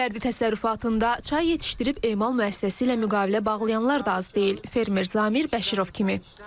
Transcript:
Fərdi təsərrüfatında çay yetişdirib emal müəssisəsi ilə müqavilə bağlayanlar da az deyil, fermer Samir Bəşirov kimi.